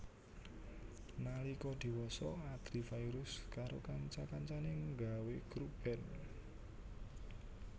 Nalika diwasa Adly Fairuz karo kanca kancané nggawé grup band